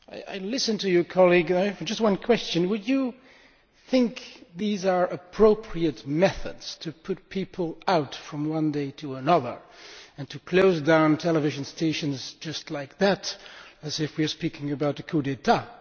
I listened to you, colleague, and I have just one question would you think these are appropriate methods, to put people out from one day to the next and to close down television stations, just like that, as if we were speaking about a coup d'état?